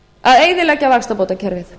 að eyðileggja vaxtabótakerfið